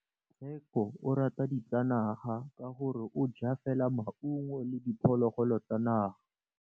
Tshekô o rata ditsanaga ka gore o ja fela maungo le diphologolo tsa naga.